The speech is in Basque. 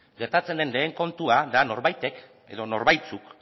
gertatzen den lehen kontua da norbaitek edo norbaitzuk